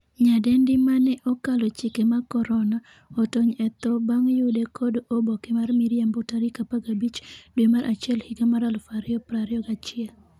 nyadendi mane 'okalo chike mag korona' otony e tho bang' yude kod oboke mar miriambo tarik 15 dwe mar achiel higa mar 2021